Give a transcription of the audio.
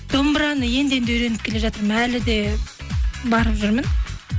домбыраны енді енді үйреніп келе жатырмын әлі де барып жүрмін